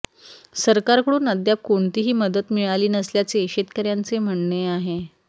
सरकारकडून अद्याप कोणतीही मदत मिळाली नसल्याचे शेतकऱयांचे म्हणणे आहे